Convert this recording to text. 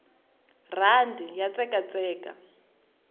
rhandi ya tsekatseka